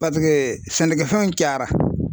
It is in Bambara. sɛnɛkɛfɛnw cayara